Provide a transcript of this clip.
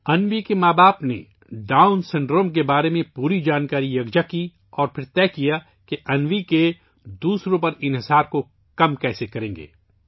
انوی کے والدین نے ڈاؤن سنڈروم کے بارے میں تمام معلومات اکٹھی کیں اور پھر فیصلہ کیا کہ انوی کا دوسروں پر انحصار کیسے کم کیا جائے